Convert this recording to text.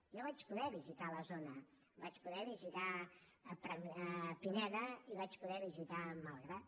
jo vaig poder visitar la zona vaig poder visitar pineda i vaig poder visitar malgrat